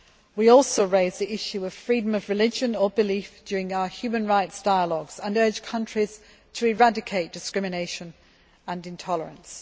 We also raise the issue of freedom of religion or belief during our human rights dialogues and urge countries to eradicate discrimination and intolerance.